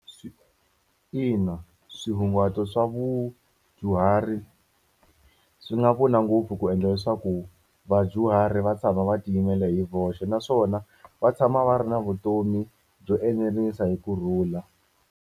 Ina swihunguto swa vudyuhari swi nga pfuna ngopfu ku endla leswaku vadyuhari va tshama va tiyimela hi voxe naswona, va tshama va ri na vutomi byo eneriseka hi kurhula.